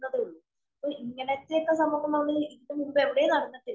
ക്കുന്നതേ ഉള്ളൂ. അപ്പൊ ഇങ്ങനത്തെ സംഭവങ്ങള്‍ ഇതിനു മുന്നില്‍ എവിടേം നടന്നിട്ടില്ല.